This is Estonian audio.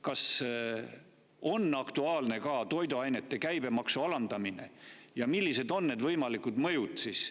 Kas on aktuaalne ka toiduainete käibemaksu alandamine ja millised on selle võimalikud mõjud?